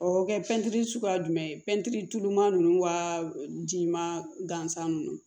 O bɛ kɛ pɛntiri suguya jumɛn ye tɛntɛnuman ninnu wajima gansan ninnu